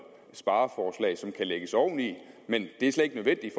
spareforslag som kan lægges oven i men det er slet ikke nødvendigt